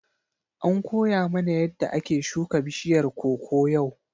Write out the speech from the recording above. An koya mana yadda ake shuka bishiyar koko yau.